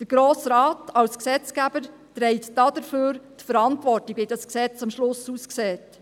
Der Grosse Rat trägt als Gesetzgeber dafür die Verantwortung, wie das Gesetz am Ende aussieht.